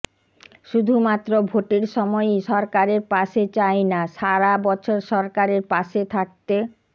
শুধুমাত্র ভোটের সময়ই সরকারের পাশে চাইনা সারা বছর সরকারের পাসে থাকতে